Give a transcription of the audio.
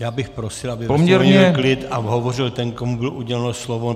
Já bych prosil, aby byl klid a hovořil ten, komu bylo uděleno slovo.